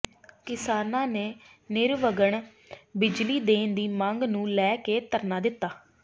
ਕਿਸਾਨਾਂ ਨੇ ਨਿਰਵਘਨ ਬਿਜਲੀ ਦੇਣ ਦੀ ਮੰਗ ਨੂੰ ਲੈ ਕੇ ਧਰਨਾ ਦਿੱਤਾ